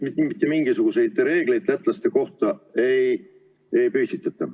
Mitte mingisuguseid reegleid lätlaste kohta ei kehtestata.